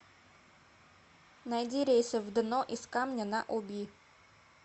найди рейсы в дно из камня на оби